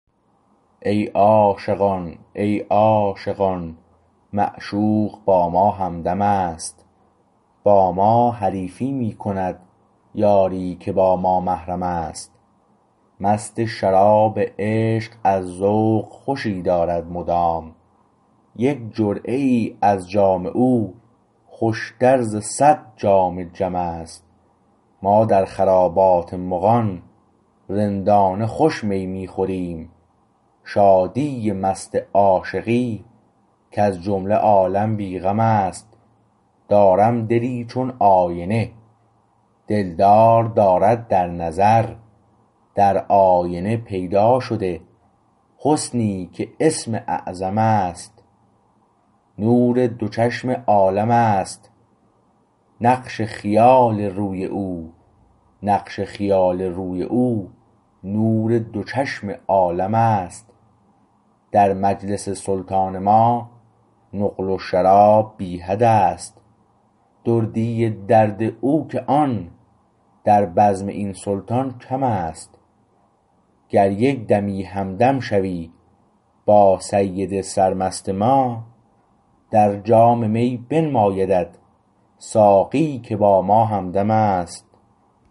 ای عاشقان ای عاشقان معشوق با ما همدم است با ما حریفی می کند یاری که با ما محرم است مست شراب عشق از ذوق خوشی دارد مدام یک جرعه ای ازجام او خوشتر ز صد جام جم است ما در خرابات مغان رندانه خوش می می خوریم شادی مست عاشقی کز جمله عالم بی غم است دارم دلی چون آینه دلدار دارد در نظر در آینه پیدا شده حسنی که اسم اعظم است نور دو چشم عالم است نقش خیال روی او نقش خیال روی او نور دو چشم عالمست در مجلس سلطان ما نقل و شراب بی حد است دردی درد او که آن در بزم این سلطان کمست گر یک دمی همدم شوی با سید سرمست ما در جام می بنمایدت ساقی که با ما همدمست